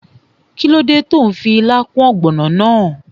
Kíló dé tó n fi ilá kún ògbònò náà?